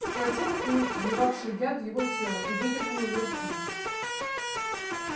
схватил клык вливавший яд в его тело и выдернул из руки